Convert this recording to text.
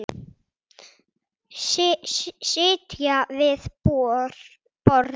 Sitja við borð